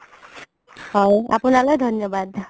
হয় আপুনালে ধন্যবাদ